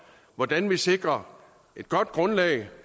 hvordan vi sikrer et godt grundlag